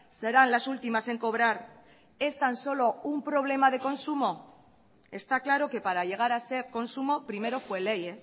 serán las últimas en cobrar es tan solo un problema de consumo está claro que para llegar a ser consumo primero fue ley